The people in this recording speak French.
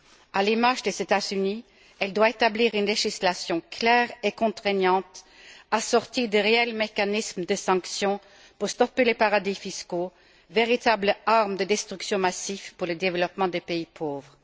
à l'image des États Unis, elle doit établir une législation claire et contraignante, assortie de réels mécanismes de sanctions pour stopper les paradis fiscaux, véritables armes de destruction massive pour le développement des pays pauvres.